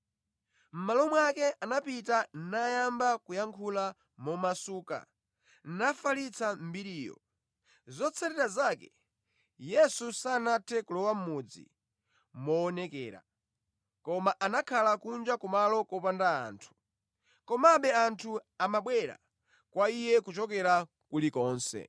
Mʼmalo mwake anapita nayamba kuyankhula momasuka, nafalitsa mbiriyo. Zotsatira zake, Yesu sanathe kulowa mʼmudzi moonekera, koma anakhala kunja kumalo kopanda anthu. Komabe anthu amabwera kwa Iye kuchokera kulikonse.